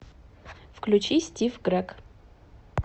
включи стив грег